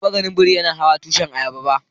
Ban taba gan biri yana hawan tushin ayaba ba.